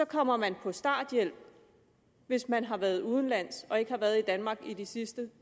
kommer man på starthjælp hvis man har været udenlands og ikke har været i danmark i de sidste